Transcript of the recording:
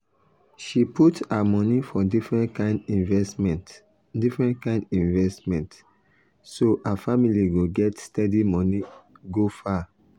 she put her money for different kind investment different kind investment so her family go get steady money go far